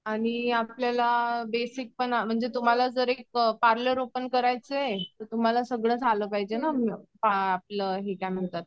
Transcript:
आणि आपल्याला बेसिक पण म्हणजे तुम्हाला जर एक पार्लर ओपन करायचं असेल तर तुम्हाला सगळंच आलं पाहिजे ना आ आपलं हे काय म्हणतात.